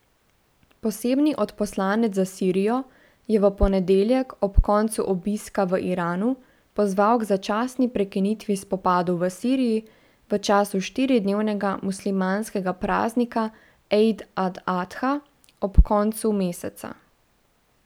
Posebni odposlanec za Sirijo je v ponedeljek ob koncu obiska v Iranu pozval k začasni prekinitvi spopadov v Siriji v času štiridnevnega muslimanskega praznika ejd al adha ob koncu meseca.